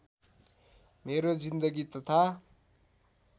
मेरो जिन्दगी तथा